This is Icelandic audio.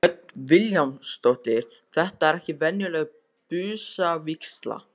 Hödd Vilhjálmsdóttir: Þetta er ekki venjuleg busavígsla?